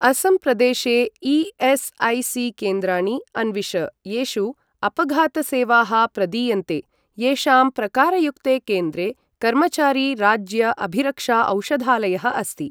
असम् प्रदेशे ई.एस्.ऐ.सी.केन्द्राणि अन्विष येषु अपघात सेवाः प्रदीयन्ते, येषां प्रकारयुक्ते केन्द्रे कर्मचारी राज्य अभिरक्षा औषधालयः अस्ति।